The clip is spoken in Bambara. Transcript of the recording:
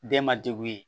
Den ma degun ye